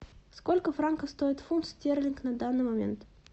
сколько франков стоит фунт стерлинг на данный момент